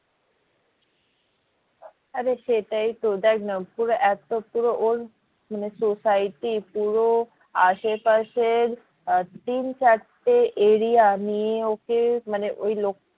আরে সেটাই তো দেখ না পুরো এতো পুরো ওর মানে society পুরো আসে পাশের আহ তিন চারটে area নিয়ে ওকে মানে ওই লোক